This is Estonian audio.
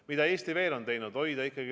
Mida Eesti veel on teinud?